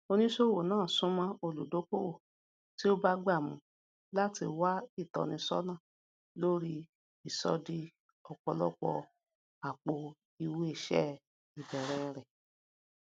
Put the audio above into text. oníṣòwò náà súnmọ olùdókòwò tí ó bagbà mu láti wá ìtọnísọnà lórí ìṣọdiọpọlọpọ àpò ìwéìṣẹ ìbẹrẹ rẹ